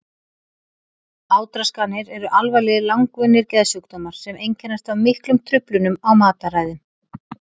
Átraskanir eru alvarlegir langvinnir geðsjúkdómar sem einkennast af miklum truflunum á mataræði.